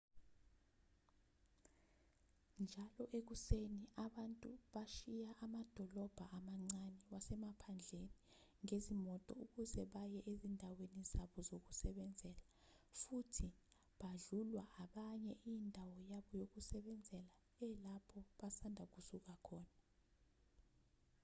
njalo ekuseni abantu bashiya amadolobha amancane wasemaphandleni ngezimoto ukuze baye ezindaweni zabo zokusebenzela futhi badlulwa abanye indawo yabo yokusebenzela elapho basanda kusuka khona